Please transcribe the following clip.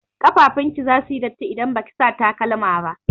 Ƙafafun ki zasu yi datti idan baki sa takalma ba.